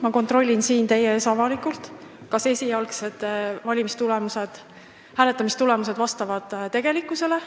Ma kontrollin siin teie ees avalikult, kas esialgsed hääletamistulemused vastavad tegelikkusele.